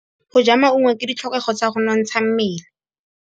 Go ja maungo ke ditlhokegô tsa go nontsha mmele.